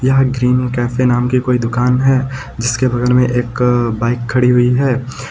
यहाँ green cafe नाम की कोई दुकान है जिसके बगल में एक बाइक खड़ी हुई है।